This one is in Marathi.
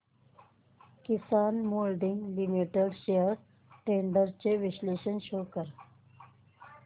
किसान मोल्डिंग लिमिटेड शेअर्स ट्रेंड्स चे विश्लेषण शो कर